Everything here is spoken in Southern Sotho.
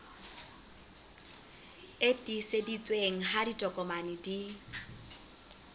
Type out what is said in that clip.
e tiiseditsweng ha ditokomane di